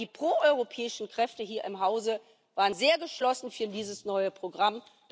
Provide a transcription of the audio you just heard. Aber die proeuropäischen Kräfte hier im Hause waren sehr geschlossen für dieses neue Programm.